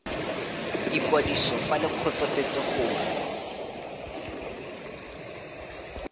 ikwadiso fa le kgotsofetse gore